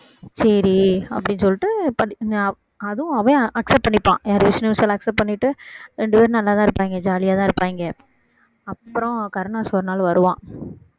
சரி அப்படீன்னு சொல்லிட்டு ப~ ந~அதுவும் அவன் accept பண்ணிப்பான் விஷ்ணு விஷால் accept பண்ணிட்டு ரெண்டு பேரும் நல்லாதான் இருப்பாய்ங்க ஜாலியாதான் இருப்பாய்ங்க அப்புறம் கருணாஸ் ஒரு நாள் வருவான்